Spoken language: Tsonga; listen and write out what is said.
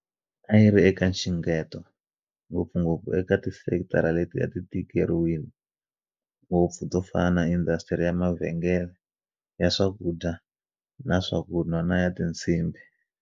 A yi ri eka nxungeto, ngopfungopfu eka tisekitara leti a ti tikeriwile ngopfu to fana na indasitiri ya mavhengele, ya swakudya na swakunwa na ya tinsimbhi.